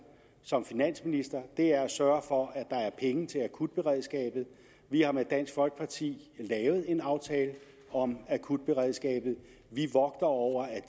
som finansminister er at sørge for at der er penge til akutberedskabet vi har med dansk folkeparti lavet en aftale om akutberedskabet vi vogter over at